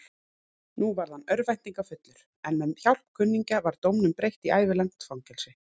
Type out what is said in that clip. Nú varð hann örvæntingarfullur, en með hjálp kunningja var dóminum breytt í ævilangt fangelsi.